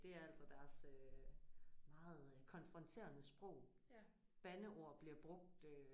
Det er altså deres øh meget konfronterende sprog. Bandeord bliver brugt øh